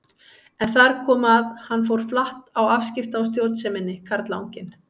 En þar kom að hann fór flatt á afskipta- og stjórnseminni, karlanginn.